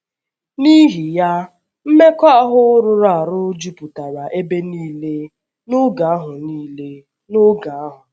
N’ihi ya, mmekọahụ rụrụ arụ jupụtara ebe nile n’oge ahụ nile n’oge ahụ.